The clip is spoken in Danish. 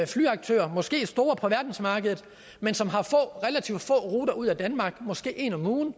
flyaktører måske store på verdensmarkedet men som har relativt få ruter ud af danmark måske en om ugen